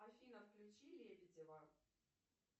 афина включи лебедева